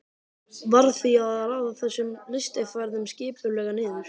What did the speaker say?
Varð því að raða þessum lystiferðum skipulega niður.